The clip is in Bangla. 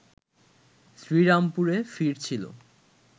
শ্রীরামপুরে ফিরছিল